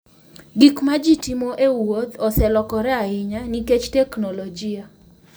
Gik ma ji timo e wuoth oselokore ahinya nikech teknolojia.